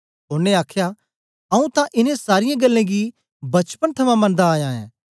ओनें आखया आऊँ तां इनें सारीयें गल्लें गी बचपन थमां मनदा आया ऐं